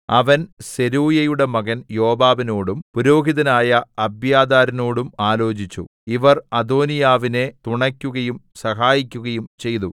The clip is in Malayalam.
അവൻ സെരൂയയുടെ മകൻ യോവാബിനോടും പുരോഹിതനായ അബ്യാഥാരിനോടും ആലോചിച്ചു ഇവർ അദോനീയാവിനെ തുണക്കുകയും സഹായിക്കുകയും ചെയ്തു